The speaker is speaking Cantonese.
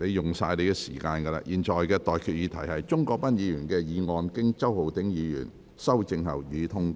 我現在向各位提出的待決議題是：鍾國斌議員動議的議案，經周浩鼎議員修正後，予以通過。